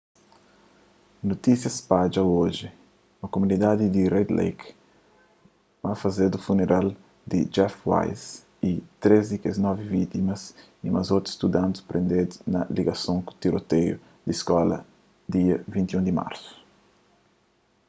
notísia spadja oji na kumunidadi di red lake ma fazedu funeral di jeff weise y três di kes novi vítimas y ma otu studanti prendedu na ligason ku tiroteius di skola dia 21 di marsu